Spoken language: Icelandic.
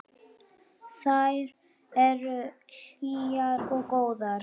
Þær eru hlýjar og góðar.